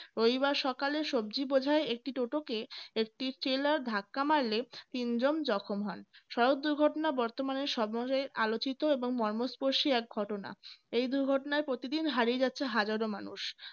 রবিবার সকালে সবজি বোঝায় একটি টোটোকে একটি trailer ধাক্কা মারলে তিনজন জখম হয় সড়ক দুর্ঘটনা বর্তমানে সব মানুষের আলোচিত এবং মর্মস্পর্শী এক ঘটনা এই দুর্ঘটনায় প্রতিদিন হারিয়ে যাচ্ছে হাজারো মানুষ